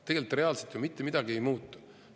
Tegelikult reaalselt ju mitte midagi ei muutu.